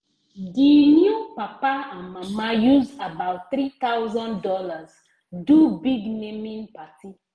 the new papa and mama use about three thousand dollars do big naming party